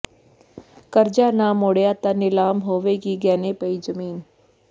ਕਰਜ਼ਾ ਨਾ ਮੋੜਿਆ ਤਾਂ ਨਿਲਾਮ ਹੋਵੇਗੀ ਗਹਿਣੇ ਪਈ ਜ਼ਮੀਨ